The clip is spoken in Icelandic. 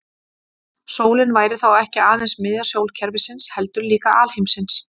Sólin væri þá ekki aðeins miðja sólkerfisins heldur líka alheimsins.